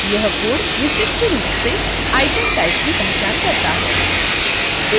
यह code विशिष्ट रूप से item type की पहचान करता है